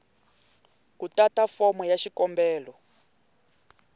ku tata fomo ya xikombelo